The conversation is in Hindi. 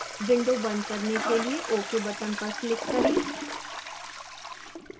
window बंद करने के लिए ok button पर click करें